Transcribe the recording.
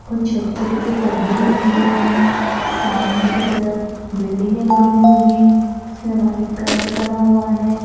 कुछ छोटे छोटे से पौधे भी लगे हुवे हैं सामने कि तरफ बिल्डिंगे बनी हुई हैं उसमें व्हाइट कलर करा हुआ हैं।